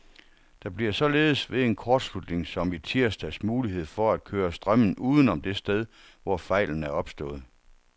Der bliver således ved en kortslutning som i tirsdags mulighed for at køre strømmen udenom det sted, hvor fejlen er opstået.